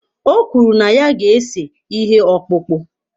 O kwuru na ya ga-ese ihe ọkpụkpụ.